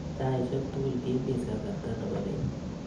taisiek tugul kimis kasarta nebo beet